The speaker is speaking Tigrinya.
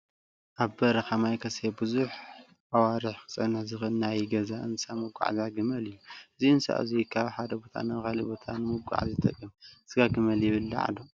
ኣብ በረካ ማይ ከይሰተየ ብዙሕ ኣዋርሕ ክፀንሕ ዝክእል ናይ ገዛ እንስሳ መጉዓዝያ ግመል እዩ። እዚ እንስሳ እዙይ ካብ ሓደ ቦታ ናብ ካሊእ ቦታ ንምጉዓዓዝ ይጠቅም። ስጋ ግመል ይብላዕ ዶ ?